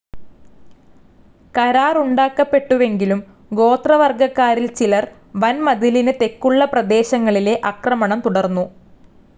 കരാറുണ്ടാക്കപ്പെട്ടുവെങ്കിലും ഗോത്രവർഗ്ഗക്കാരിൽ ചിലർ വൻമതിലിന് തെക്കുള്ള പ്രദേശങ്ങളിലെ ആക്രമണം തുടർന്നു.